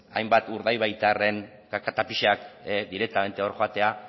hainbat urdaibaitarren kaka eta pixak direktamente hor joatea